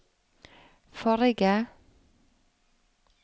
forrige